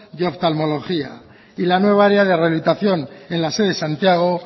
de oftalmología y la nueva área de rehabilitación en la sede de santiago